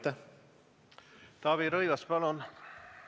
Taavi Rõivas, palun!